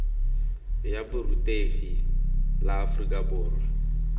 ya borutegi la aforika borwa